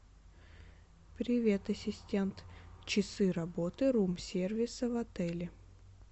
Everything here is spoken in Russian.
привет ассистент часы работы рум сервиса в отеле